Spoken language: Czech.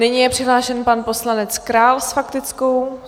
Nyní je přihlášen pan poslanec Král s faktickou.